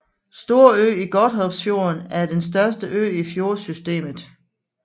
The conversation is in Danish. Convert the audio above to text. Storø i Godthåbsfjorden er den største ø i fjordsystemet